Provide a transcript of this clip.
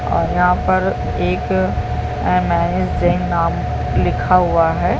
और यहाँ पर एक एमेजिग नाम लिखा हुआ हैं ।